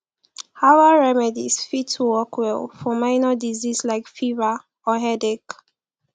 herbal remedies fit work well for minor disease like fever or headache